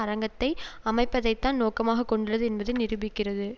அரங்கத்தை அமைப்பதைத்தான் நோக்கமாக கொண்டுள்ளது என்பதை நிரூபிக்கிறது